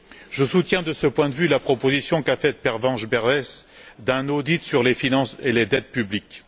Je soutiens, de ce point de vue, la proposition qu'a faite Pervenche Berès d'un audit sur les finances et les dettes publiques.